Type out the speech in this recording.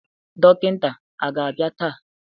Dọkịta aga-abịa taa?